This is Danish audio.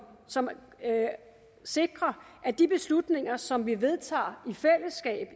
som sikrer at de beslutninger som vi vedtager